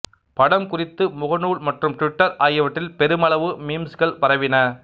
படம் குறித்து முகநூல் மற்றும் டிவிட்டர் ஆகியவற்றில் பெருமளவு மீம்ஸ்கள் பரவின